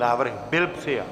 Návrh byl přijat.